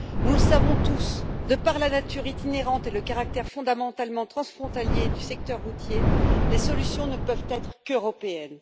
Nous le savons tous, de par la nature itinérante et le caractère fondamentalement transfrontalier du secteur routier, les solutions ne peuvent être qu'européennes.